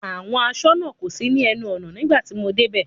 Àwọn aṣọ́nà kò sí ní ẹnu ọ̀nà nígbà tí mo dé bẹ̀.